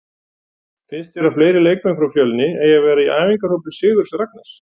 Finnst þér að fleiri leikmenn frá Fjölni eigi að vera í æfingahópi Sigurðs Ragnars?